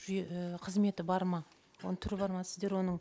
жүйе і қызметі бар ма оның түрі бар ма сіздер оның